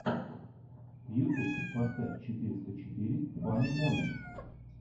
ютуб поставь четыреста четыре фани моментс